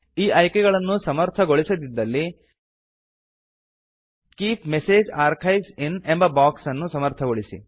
ಈ ಅಯ್ಕೆಗಳನ್ನು ಸಮರ್ಥಗೊಳಿಸದಿದ್ದಲ್ಲಿ ಕೀಪ್ ಮೆಸೇಜ್ ಆರ್ಕೈವ್ಸ್ ಇನ್ ಎಂಬ ಬಾಕ್ಸ್ ಅನ್ನು ಸಮರ್ಥಗೊಳಿಸಿ